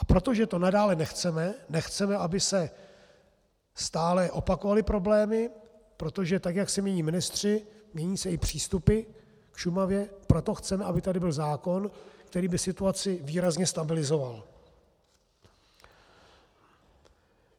A protože to nadále nechceme, nechceme, aby se stále opakovaly problémy, protože tak jak se mění ministři, mění se i přístupy k Šumavě, proto chceme, aby tady byl zákon, který by situaci výrazně stabilizoval.